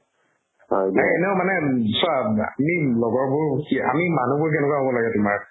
like এনেও মানে উম চা আমি লগৰবোৰ কি আমি মানুহবোৰ কেনেকুৱা হ'ব লাগে তোমাৰ